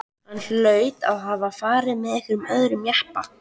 Hann hlaut að hafa farið með einhverjum öðrum jeppa.